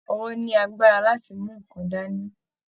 Ọwọ ní àgbàrá láti mú nkán dání.